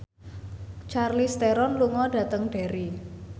Charlize Theron lunga dhateng Derry